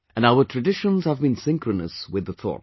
And our traditions have been synchronous with the thought